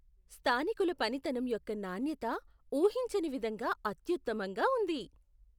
స్థానికుల పనితనం యొక్క నాణ్యత ఊహించని విధంగా అత్యుత్తమంగా ఉంది .